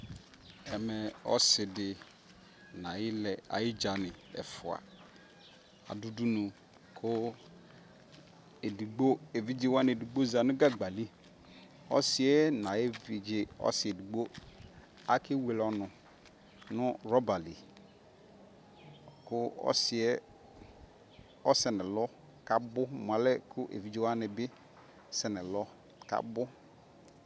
Ɛmɛ ɔsidi nayiɖʒani ɔsidi ɛfua du udunu ku edigbo eviɖʒeani ƶati, yɛuluvi ɛna ɔsi edigboakewelr ɔɔnu nu rɔɔbali ɔsiɛ ɔsɛ nɛlɔ kaabu kuu eviɖʒe wanibi sɛɛnɛɛlɔ kaabu